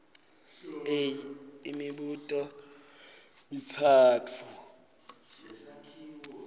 a imibuto mitsatfu